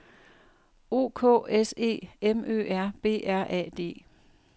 O K S E M Ø R B R A D